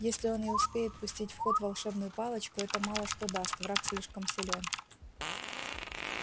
если он и успеет пустить в ход волшебную палочку это мало что даст враг слишком силён